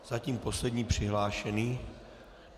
Zatím poslední přihlášený.